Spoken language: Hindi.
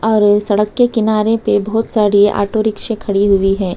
और सड़क के किनारे पर बहुत सारी ऑटो रिक्शे खड़ी हुई है।